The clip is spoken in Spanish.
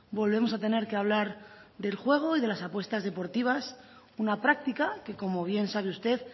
volvemos a tener que hablar del juego y de las apuestas deportivas una práctica que como bien sabe usted